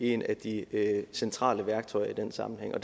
et af de centrale værktøjer i den sammenhæng og